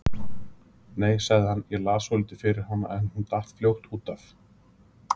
Nei, sagði hann, ég las svolítið fyrir hana en hún datt fljótt út af.